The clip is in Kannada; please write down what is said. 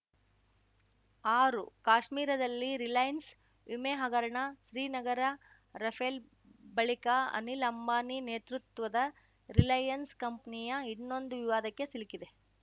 ಆರು ಕಾಶ್ಮೀರದಲ್ಲಿ ರಿಲಯನ್ಸ್ ವಿಮೆ ಹಗರಣ ಶ್ರೀನಗರ ರಫೇಲ್‌ ಬಳಿಕ ಅನಿಲ್‌ ಅಂಬಾನಿ ನೇತೃತ್ವದ ರಿಲಯನ್ಸ್‌ ಕಂಪ್ನಿಯಾ ಇನ್ನೊಂದು ವಿವಾದಕ್ಕೆ ಸಿಲ್ಕಿದೆ